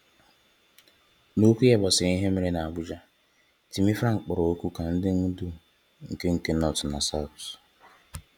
N’okwu ya gbasara ihe mere n'Abuja, Timi Frank kpọrọ oku ka ndị ndu nke nke North na South